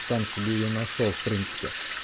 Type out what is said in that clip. сам себе её нашёл в принципе